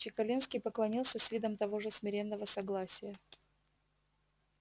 чекалинский поклонился с видом того же смиренного согласия